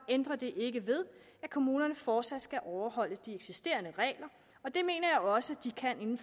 ændrer det ikke ved at kommunerne fortsat skal overholde de eksisterende regler og det mener jeg også de kan